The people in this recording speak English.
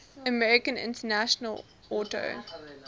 american international auto